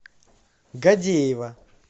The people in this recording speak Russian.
гадеева